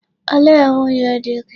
Olee nwunye di gị?